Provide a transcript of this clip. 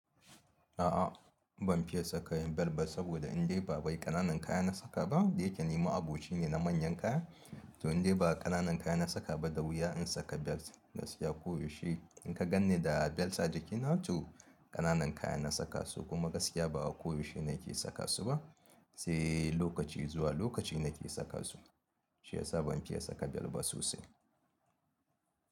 A'a ban fiye saka yin belt ba saboda indai ba bai ƙananan kaya na saka ba. Da yake ni ma'aboci ne na manyan kaya, to indai ba ƙananan kaya na saka ba da wuya in saka belt. Gaskiya koyaushe in ka gan ni da belt a jikina to ƙananan kaya na saka su kuma gaskiya ba koyaushe na ke saka su ba, sai lokaci zuwa lokaci na ke saka su. Shi ya sa ban fiye saka belt ba sosai.